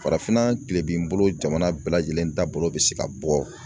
Farafinna kilebin bolo jamana bɛɛ lajɛlen taabolo bɛ se ka bɔ